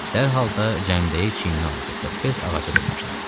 Dərhal da cəmdəyi çiyninə aldı və tez ağaca dırmaşdı.